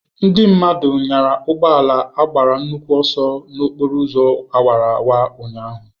Ndị mmadụ nyara ugbo ala agbara nnukwu ọsọ n'okporo ụzọ awara awara ụnyahụ.